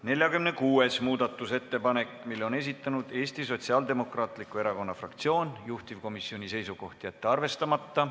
46. muudatusettepaneku on esitanud Eesti Sotsiaaldemokraatliku Erakonna fraktsioon, juhtivkomisjoni seisukoht: jätta see arvestamata.